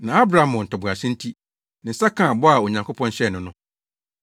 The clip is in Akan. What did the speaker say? Na Abraham wɔ ntoboase nti, ne nsa kaa bɔ a Onyankopɔn hyɛɛ no no.